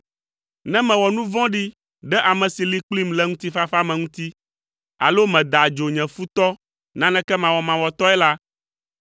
ne mewɔ nu vɔɖi ɖe ame si li kplim le ŋutifafa me ŋuti alo meda adzo nye futɔ naneke mawɔmawɔtɔe la,